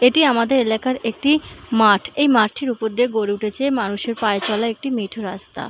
এটি আমাদের লেখা একটি মাঠ এই মাঠটির ওপর দিয়ে গড়ে উঠেছে মানুষের পায়ের চলার একটি মিঠো রাস্তা।